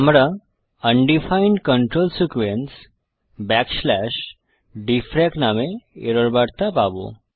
আমরা undefined control sequence DFRAC নামে error বার্তা পাবো